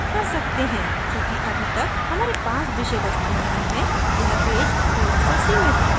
चूँकि अभी तक हमारे पास विषय वस्तु नहीं है यह पेज थोड़ा सा सीमित है